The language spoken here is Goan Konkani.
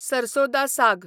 सरसो दा साग